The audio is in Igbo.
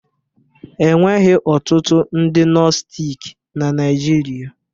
Enweghị ọtụtụ ndị nostic na Naịjirịa